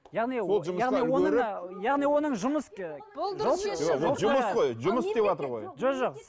яғни о яғни оның яғни оның жұмыс жұмыс қой жұмыс істеватыр ғой жоқ